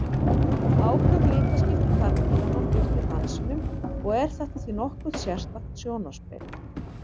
Áköf litaskipti karldýranna fylgja dansinum og er þetta því nokkuð sérstakt sjónarspil.